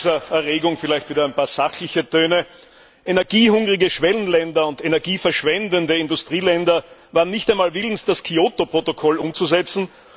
Nach dieser Erregung vielleicht wieder ein paar sachliche Töne Energiehungrige Schwellenländer und Energie verschwendende Industrieländer waren nicht einmal willens, das Kyoto Protokoll umzusetzen.